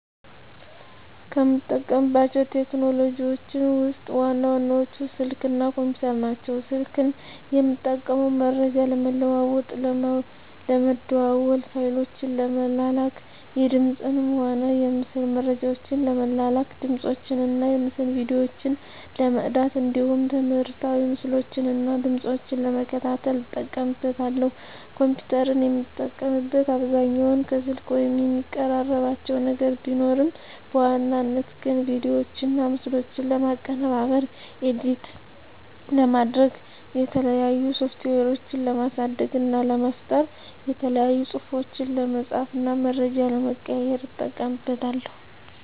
ከምጠቀማቸው ቴክኖሎጂዎችን ውስጥ ዋና ዋናዎቹ ስልክ እና ኮምፒተር ናቸው። ስልክን የምጠቀመው መረጃ ለመለዋዎጥ ለመደዋዎል፣ ፋይሎችን ለመላላክ፣ የድምፅንም ሆነ የምስል መረጃዎችን ለመላላክ፣ ድምፆችን እና የምስል ቪዲዮዎችን ለመቅዳት እንዲሁም ትምህርታዊ ምስሎችን እና ድምጾችን ለመከታተል እጠቀምበታለሁ። ኮምፒተርን የምጠቀምበት አብዛኛውን ከስልክ ጋር የሚቀራርባቸው ነገር ቢኖርም በዋናነት ግን ቪዲዮዎችና ምስሎችን ለማቀነባበር (ኤዲት) ለማድረግ፣ የተለያዩ ሶፍትዌሮችን ለማሳደግ እና ለመፍጠር፣ የተለያዩ ፅሁፎችን ለመፃፍ እና መረጃ ለመቀያየር ... እጠቀምበታለሁ።